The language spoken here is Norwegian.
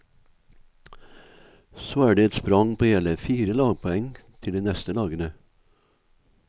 Så er det et sprang på hele fire lagpoeng til de neste lagene.